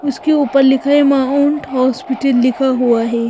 उसके ऊपर लिखा है माउंट हॉस्पिटल लिखा हुआ है।